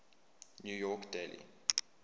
new york daily